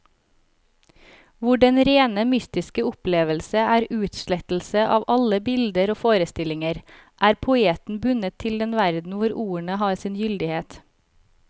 Hvor den rene mystiske opplevelse er utslettelse av alle bilder og forestillinger, er poeten bundet til den verden hvor ordene har sin gyldighet.